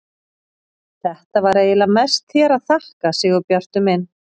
Þetta var eiginlega mest þér að þakka, Sigurbjartur minn.